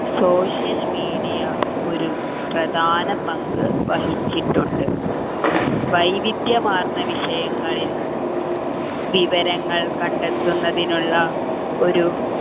social media ഒരു പ്രധാന പങ്കുവഹിച്ചിട്ടുണ്ട് വൈവിധ്യമാർന്ന വിഷയങ്ങളിൽ വിവരങ്ങൾ കണ്ടെത്തുന്നതിനുള്ള ഒരു